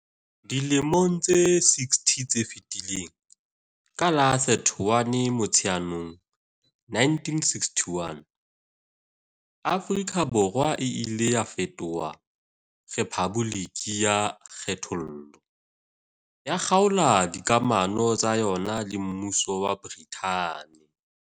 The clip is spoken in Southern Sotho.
Dilemong tse 60 tse fetileng, ka la 31 Motsheanong 1961, Afrika Borwa e ile ya fetoha rephaboliki ya kgethollo, ya kgaola dikamano tsa yona le Mmuso wa Brithani.